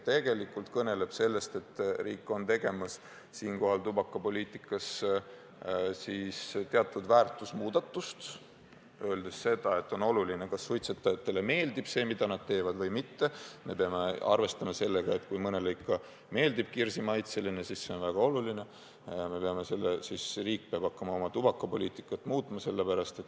Tegelikult see kõneleb sellest, et riik on siinkohal tegemas tubakapoliitikas teatud väärtushinnangute muudatust, öeldes seda, et on oluline, kas suitsetajatele meeldib see, mida nad teevad, või ei meeldi, ja me peame arvestama sellega, et kui mõnele ikka meeldib kirsi maitse, siis see on väga oluline, siis riik peab hakkama oma tubakapoliitikat muutma.